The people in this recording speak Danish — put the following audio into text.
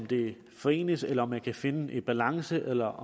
det forenes eller at man kan finde en balance eller